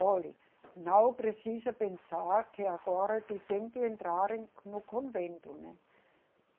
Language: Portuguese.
Olhe, não precisa pensar que agora tu tem que entrar em, no convento, né?